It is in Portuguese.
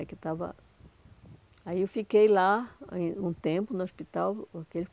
Aí que estava aí eu fiquei lá aí um tempo no hospital.